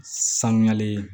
Sanuyali